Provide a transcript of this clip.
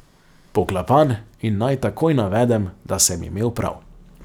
Poklapan, in naj takoj navedem, da sem imel prav.